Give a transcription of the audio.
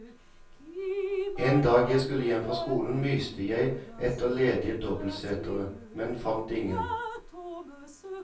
En dag jeg skulle hjem fra skolen myste jeg etter ledige dobbeltseter, men fant ingen.